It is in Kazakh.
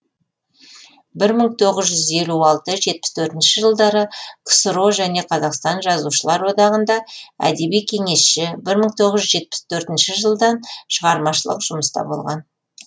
бір мың тоғыз жүз елу алты жетпіс төртінші жылдары ксро және қазақстан жазушылар одағында әдеби кеңесші бір мың тоғыз жүз жетпіс төртінші жылдан шығармашылық жұмыста болған